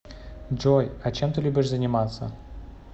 джой а чем ты любишь заниматься